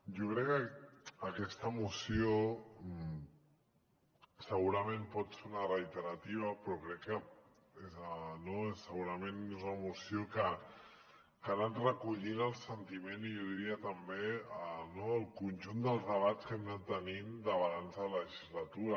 jo crec que aquesta moció segurament pot ser una reiterativa però crec que no és una moció que ha anat recollint el sentiment i jo diria també el conjunt dels debats que hem anat tenint de balanç de legislatura